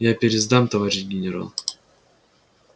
я пересдам товарищ генерал